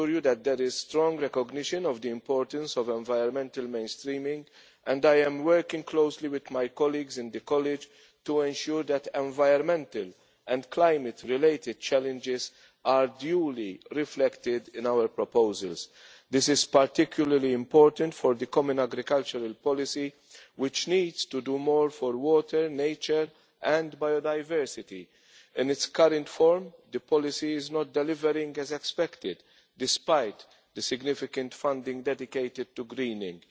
assure you that there is strong recognition of the importance of environmental mainstreaming, and I am working closely with my colleagues in the College to ensure that environmental and climate related challenges are duly reflected in our proposals. This is particularly important for the Common Agricultural Policy, which needs to do more for water, nature and biodiversity. In its current form, the policy is not delivering as expected, despite the significant funding dedicated to greening.